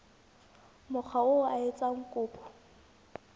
mokga oo a etsang kopo